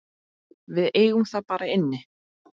Við eigum það bara inni.